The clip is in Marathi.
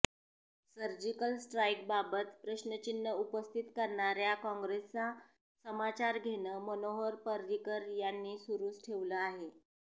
सर्जिकल स्ट्राईक बाबत प्रश्रचिन्ह उपस्थित करणाऱ्या काँग्रेसचा समाचार घेणं मनोहर पर्रिकर यांनी सुरुच ठेवलं आहे